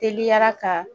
Teliyara ka